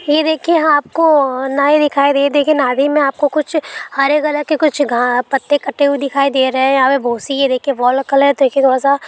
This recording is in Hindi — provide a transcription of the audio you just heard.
ये देखिये ह--आपको नए दिखाई दे देगी नदी में आपको कुछ हरे कलर के कुछ घ-- पत्ते कटे हुए दिखाई दे रहे है यहाँ पे बहोत सी है ये देखिये वो वाला कलर देखिये थोड़ा सा--